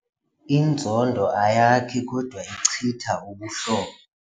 Inzondo ayakhi kodwa ichitha ubuhlobo.